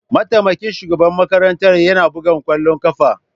Mataimakin shugaban makarantar yana buga kwallon kafa.